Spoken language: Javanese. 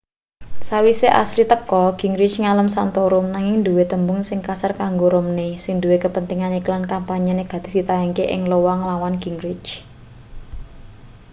sawise asile teka gingrich ngalem santorum nanging duwe tembung sing kasar kanggo romney sing duwe kepentingan iklan kampanye negatif ditayangake ing iowa nglawan gingrich